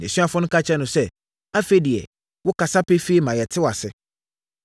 Nʼasuafoɔ no ka kyerɛɛ no sɛ, “Afei deɛ, wokasa pefee ma yɛte wo aseɛ.